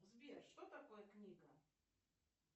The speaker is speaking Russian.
сбер что такое книга